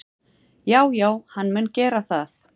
Já já, hann mun gera það.